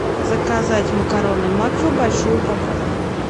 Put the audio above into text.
заказать макароны макфа большую упаковку